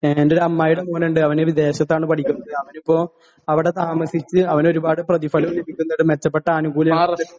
എന്റെ ഒരു അമ്മായീടെ മോനുണ്ട്.അവൻ വിദേശത്താണ് പഠിക്കുന്നത്.അവനിപ്പോ അവിടെ താമസിച്ച് അവനൊരുപാട് പ്രതിഫലോം ലഭിക്കുന്നുണ്ട്, മെച്ചപ്പെട്ട ആനുകൂല്യങ്ങളും..